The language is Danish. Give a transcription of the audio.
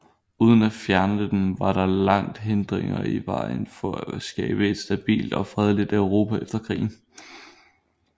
Uden at fjerne dem var der lagt hindringer i vejen for at skabe et stabilt og fredeligt Europa efter krigen